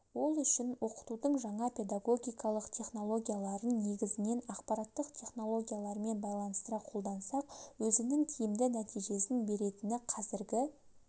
ол үшін оқытудың жаңа педагогикалық технологияларын негізінен ақпараттық технологиялармен байланыстыра қолдансақ өзінің тиімді нәтижесені беретіні қазіргі